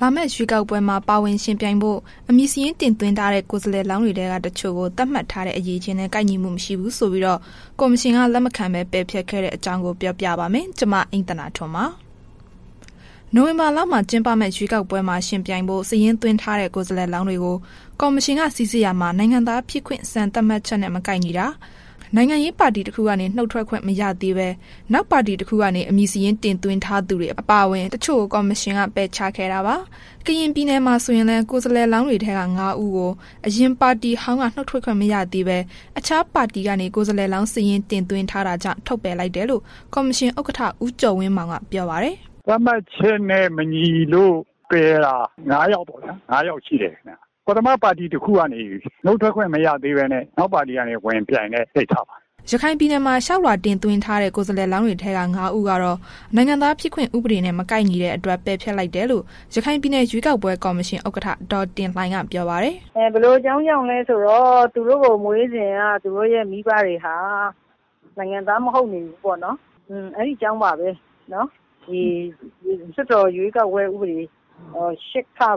လာမယ့်ရွေးကောက်ပွဲမှာ ပါဝင်ယှဉ်ပြိုင်ဖို့ အမည်စာရင်း တင်သွင်းထားတဲ့ ကိုယ်စားလှယ်လောင်းတွေထဲက တချို့ကို သတ်မှတ်ထားတဲ့ အရည်အချင်းနဲ့ ကိုက်ညီမှုမရှိဘူးဆိုပြီး ကော်မရှင်က လက်မခံဘဲ ပယ်ဖျက်ခဲ့တဲ့အကြောင်း ပြောပြပါမယ်။ ဗွီအိုအေမြန်မာပိုင်းသတင်းထောက် မအိမ့်သန္တာထွန်းက သတင်းပေးပို့ထားပါတယ်။ နိုဝင်ဘာလမှာ ကျင်းပမယ့် ရွေးကောက်ပွဲမှာ ယှဉ်ပြိုင်ဖို့ စာရင်းသွင်းထားတဲ့ ကိုယ်စားလှယ်လောင်းတွေကို ကော်မရှင်က စိစစ်ရာမှာ နိုင်ငံသားဖြစ်ခွင့် စံသတ်မှတ်ချက်နဲ့ မကိုက်ညီတာ၊ နိုင်ငံရေးပါတီတခုကနေ နုတ်ထွက်ခွင့် မရသေးဘဲ နောက်ပါတီတခုကနေ အမည်စာရင်းတင်သွင်းထားသူတွေ အပါအဝင် တချို့ကို ကော်မရှင်က ပယ်ချက်ခဲ့တာပါ။ ကရင်ပြည်နယ်မှာ ဆိုရင်လည်း ကိုယ်စားလှယ်လောင်းတွေထဲက ငါး ဦးကို အရင်ပါတီ ဟောင်းက နုတ်ထွက်ခွင့်မရသေးဘဲ အခြားပါတီကနေ ကိုယ်စားလှယ်လောင်းစာရင် တင်သွင်းထားတာကြောင့် ထုတ်ပယ်လိုက်တယ်လို့ ကော်မရှင် ဥက္ကဋ္ဌ ဦးကျော်ဝင်းမောင်က ပြောပါတယ်။ “သတ်မှတ်ချက်နဲ့ မညီလို့ ပယ်တာ ငါး ယောက် ပေါ့နော်၊ ၅ ယောက် ရှိတယ် ခင်ဗျ။ ပထထမ ပါတီ တစ်ခုကနေ နုတ်ထွက်ခွင့် မရသေးဘဲနဲ့ နောက်ပါတီတစ်ခုကနေ ဝင်ပြိုင်တဲ့ ကိစ္စပါ။” ရခိုင်ပြည်နယ်မှာ လျှောက်လွှာတင်သွင်းထားတဲ့ ကိုယ်စားလှယ်လောင်းတွေထဲက ၅ ဦးကတော့ နိုင်ငံသားဖြစ်ခွင့် ဥပဒေနဲ့ မကိုက်ညီတဲ့အတွက် ပယ်ဖျက်လိုက်တယ်လို့ ရခိုင်ပြည်နယ် ရွေးကောက်ပွဲ ကော်မရှင်ဥက္ကဋ္ဌ ဒေါ်တင်လှိုင်က ပြောပါတယ်။ “ဘာလို့လည်းဆိုတော့ သူတို့ကို မွေးစဉ်က သူတို့ရဲ့ မိဘတွေဟာ နိုင်ငံသား မဟုတ်နေဘူးပေါ့နှော်။ အဲ့ဒီအကြောင်းကြောင့်ပါပဲ လွှတ်တော်နည်းဥပဒေ ၈(ခ) တို့နော်၊ ၁၀(